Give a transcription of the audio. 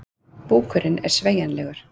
Búkurinn er sveigjanlegur.